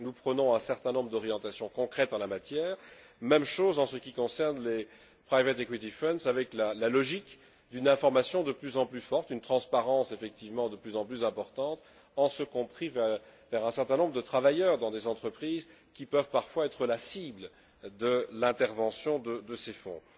Nous prenons un certain nombre d'orientations concrètes en la matière, même chose en ce qui concerne les private equity funds avec la logique d'une information de plus en plus forte, une transparence effectivement de plus en plus importante, en ce compris vers un certain nombre de travailleurs dans des entreprises qui peuvent parfois être la cible de l'intervention de ces fonds.